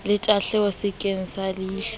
le tahleho sekeng sa leilho